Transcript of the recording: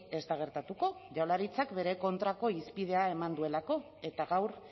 ez da gertatuko jaurlaritzak bere kontrako hizpidea eman duelako eta gaur